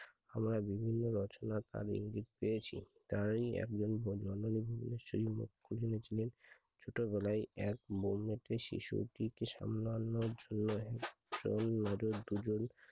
আমরা বিভিন্ন রচনা তার ইঙ্গিত পেয়েছি যা একজন ভদ্র লোক বলেছিলেন ছোট বেলায় শিশুকে সামলানোর জন্য একজন না হলে দুইজন